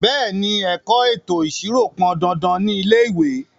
Bẹ̀ẹ́ni, ẹ̀kọ́ ètò ìṣirò pọn dandan ní ilé ìwé.